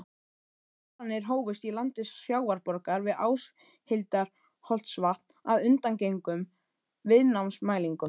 Boranir hófust í landi Sjávarborgar við Áshildarholtsvatn að undangengnum viðnámsmælingum.